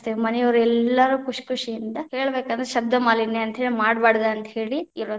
ಮನಿಯವರೆಲ್ಲಾರೂ ಖುಷಿ ಖುಷಿಯಿಂದ, ಹೇಳಬೇಕಂದರ ಶಬ್ಧಮಾಲಿನ್ಯ ಅಂತೇಳಿ ಮಾಡ್ಬಾರದು ಅಂತ ಹೇಳಿ ಇರೋದ.